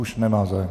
Už nemá zájem.